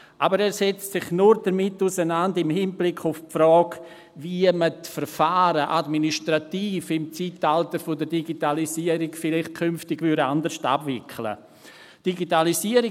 Aber er setzt sich damit nur im Hinblick auf die Frage auseinander, wie man im Zeitalter der Digitalisierung die Verfahren vielleicht künftig administrativ anders abwickeln wird.